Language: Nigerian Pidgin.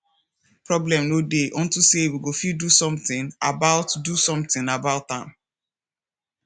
problem no dey unto say we go fit do something about do something about am